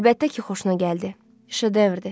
Əlbəttə ki, xoşuna gəldi, şedevrdir.